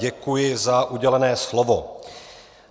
Děkuji za udělené slovo.